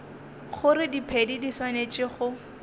gore diphedi di swanetše go